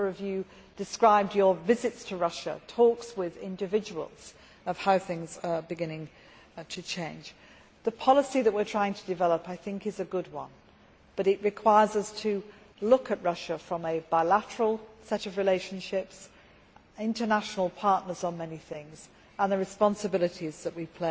A number of you described your visits to Russia and talks with individuals about how things are beginning to change. The policy that we are trying to develop is a good one, but it requires us to look at Russia from a bilateral set of relationships, as international partners on many things, and at the responsibilities that we